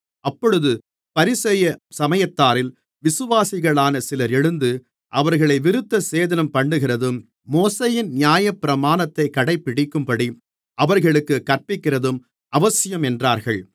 அப்பொழுது பரிசேய சமயத்தாரில் விசுவாசிகளான சிலர் எழுந்து அவர்களை விருத்தசேதனம்பண்ணுகிறதும் மோசேயின் நியாயப்பிரமாணத்தைக் கடைபிடிக்கும்படி அவர்களுக்குக் கற்பிக்கிறதும் அவசியம் என்றார்கள்